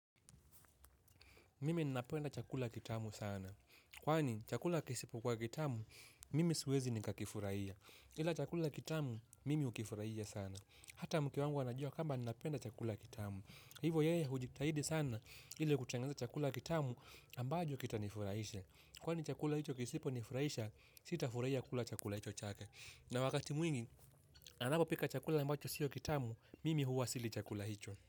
Mimi ninapenda chakula kitamu sana. Kwani chakula kisipo kuwa kitamu, mimi siwezi nikakifurahia. Ila chakula kitamu, mimi hukifurahia sana. Hata mke wangu anajua kwamba ninapenda chakula kitamu. Hivo yeye hujitahidi sana ili kutengeneza chakula kitamu ambajo kitanifurahisha. Kwani chakula hicho kisiponifurahisha, sitafurahia kula chakula hicho chake. Na wakati mwingi, anapopika chakula ambacho siyo kitamu, mimi huwa sili chakula hicho.